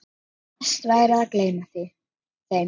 Best væri að gleyma þeim.